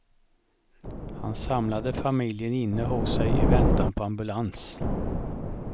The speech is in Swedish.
Han samlade familjen inne hos sig i väntan på ambulans.